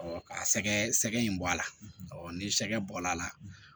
ka sɛgɛ sɛgɛ in bɔ a la ɔ ni sɛgɛ bɔla a la